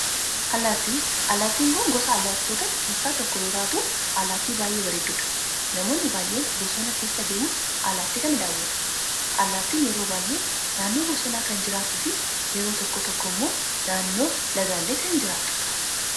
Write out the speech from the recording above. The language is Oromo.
allaattii, allaattiin kun gosa allaattotaa keessaa tokko yoo taatu allaatti baayyee bareeddudha. namoonni baayyeen bosona keessa deemuun allaattii kana daawwatu. allaattiin yeroo baayyee naannoo bosonaa kan jirraattufi yeroo tokko tokkommoo naannoo lagaalee kan jiraatudha.